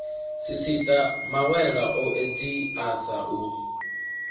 sisiṱa mawela o edziasa u